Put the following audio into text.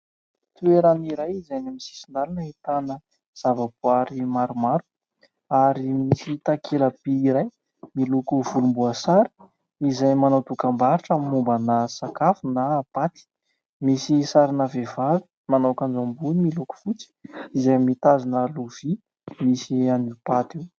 Toeran'iray izay amin'ny sisin-dalana ahitana zavaboary maromaro ary misy takela-by iray miloko volomboasary izay manao dokam-barotra mombana sakafo na paty, misy sarina vehivavy manao akanjo ambony miloko fotsy izay mitazona lovia misy an'io paty io.